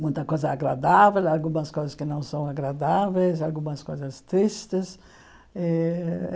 Muita coisa agradável, algumas coisas que não são agradáveis, algumas coisas tristes eh.